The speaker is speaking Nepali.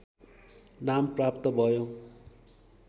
नाम प्राप्त भयो